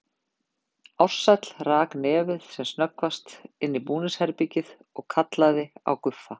Ársæll rak nefið sem snöggvast inn í búningsherbergið og kallaði á Guffa.